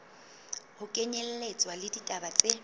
ho kenyelletswa le ditaba tse